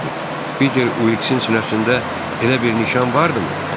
Piter Uliksin sinəsində elə bir nişan vardımı?